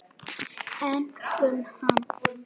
Einkum hana.